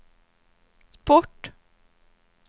sport